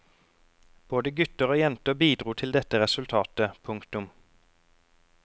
Både gutter og jenter bidro til dette resultatet. punktum